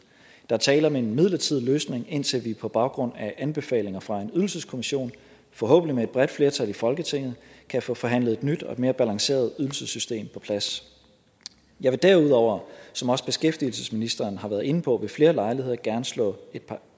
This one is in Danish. er tale om en midlertidig løsning indtil vi på baggrund af anbefalinger fra en ydelseskommission forhåbentlig med et bredt flertal i folketinget kan få forhandlet et nyt og et mere balanceret ydelsessystem på plads jeg vil derudover som også beskæftigelsesministeren har været inde på ved flere lejligheder gerne slå et par